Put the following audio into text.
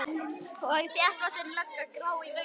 Og þéttvaxin lögga, grá í vöngum.